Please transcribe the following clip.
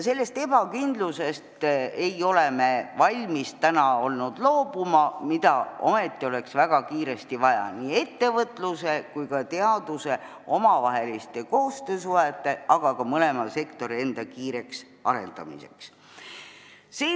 Sellest ebakindlusest ei ole me olnud valmis loobuma, kuid ometi oleks seda väga kiiresti vaja nii ettevõtluse kui ka teaduse omavahelise koostöösuhte jaoks, aga ka mõlema sektori enda kiireks arendamiseks.